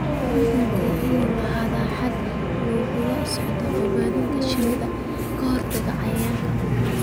Cuncunku waa inuu lahaadaa nidaam lagula socdo badbaadada shinnida ka hortagga cayayaanka.